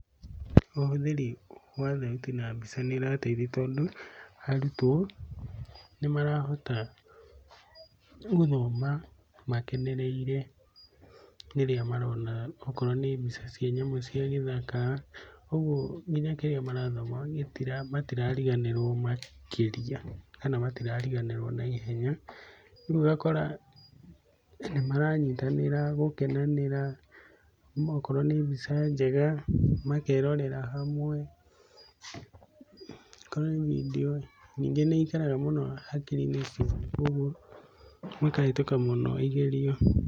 Ũhũthĩri wa thauti na mbica nĩ ũrateithia tondũ arutwo nĩ marahota gũthoma makenereire, rĩrĩa marona okorwo nĩ mbica cia nyamũ cia gĩthaka. Ũguo nginya kĩrĩa marathoma matirariganĩrwo makĩria kana matirariganĩrwo na ihenya. Ũguo ũgakora maramyitanĩra gũkenanĩra, okorwo nĩ mbica njega makerora hamwe, okorwo nĩ bindiũ. Ningĩ nĩ ĩikaraga mũno hakiri-inĩ ciao koguo makahĩtũka mũno igerio.